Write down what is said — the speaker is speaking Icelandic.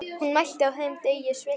Hún mælti: Á þeim degi sveittist